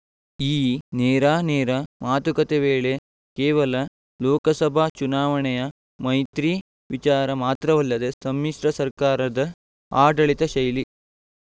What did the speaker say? ಈ ನೇರಾನೇರ ಮಾತುಕತೆ ವೇಳೆ ಕೇವಲ ಲೋಕಸಭಾ ಚುನಾವಣೆಯ ಮೈತ್ರಿ ವಿಚಾರ ಮಾತ್ರವಲ್ಲದೆ ಸಮ್ಮಿಸ್ರ ಸರ್ಕಾರದ ಆಡಳಿತ ಶೈಲಿ